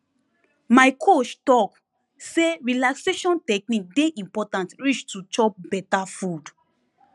my coach talk say relaxation technique dey important reach to chop beta food